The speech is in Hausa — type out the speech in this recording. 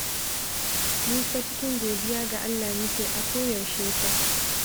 Mu fa cikin godiya ga Allah muke a koyaushe fa